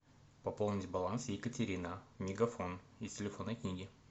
пополнить баланс екатерина мегафон из телефонной книги